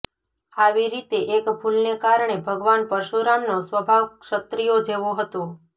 આવી રીતે એક ભૂલને કારણે ભગવાન પરશુરામનો સ્વભાવ ક્ષત્રિયો જેવો હતો